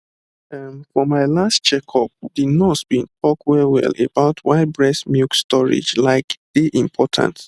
ehm for my last checkup the nurse been talk wellwell about why breast milk storage like dey important